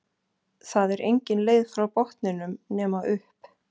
Það er engin leið frá botninum nema upp